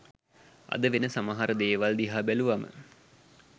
අද වෙන සමහර දේවල් දිහා බැලුවම